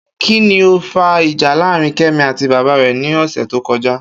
Kí ni ó fa ìjà láàárín Ké̩mi àti bàbá rè̩ ní ò̩sè̩ tó ko̩já?